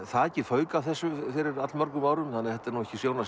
þakið fauk af þessu fyrir allmörgum árum þannig að þetta er ekki sjón að